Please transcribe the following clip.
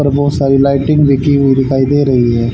ऊपर बहोत लाइटिंग बिकी हुई दिखाई दे रही है।